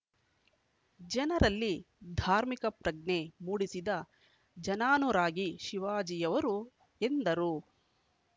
ಜನರಲ್ಲಿ ಧಾರ್ಮಿಕಪ್ರಜ್ಞೆ ಮೂಡಿಸಿದ ಜನಾನುರಾಗಿ ಶಿವಾಜಿಯವರು ಎಂದರು